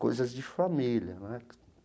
Coisas de família né.